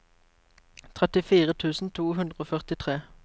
trettifire tusen to hundre og førtitre